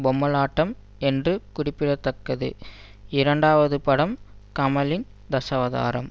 பொம்மலாட்டம் என்பது குறிப்பிட தக்கது இரண்டாவது படம் கமலின் தசாவதாரம்